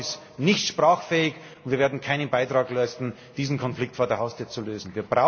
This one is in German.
Europa ist nicht sprachfähig und wir werden keinen Beitrag leisten, diesen Konflikt vor der Haustür zu lösen.